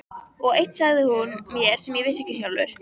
Og eitt sagði hún mér sem ég vissi ekki sjálfur.